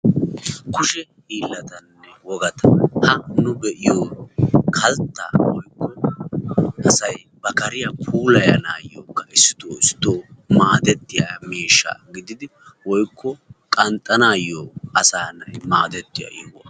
kuushe hiillatanne wogata ha nu be'iyoo kalttaa woykko asay ba kaariyaa puulayanayookka issito issito maadettiyaa miishsha gididi woykko qanxxanaayoo asaa na'ay maaddetiyoo.